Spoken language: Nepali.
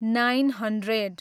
nine hundred